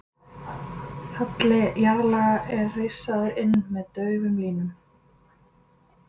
halli jarðlaga er rissaður inn með daufum línum